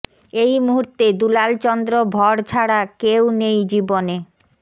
এই মুহূর্তে দুলাল চন্দ্র ভড় ছাড়া কেউ নেই জীবনে